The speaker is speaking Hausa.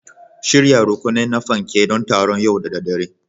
Shirya rukuni na fanke don taron yau da daddare